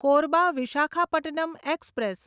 Korba Visakhapatnam express